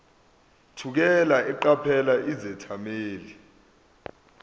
thukela eqaphela izethameli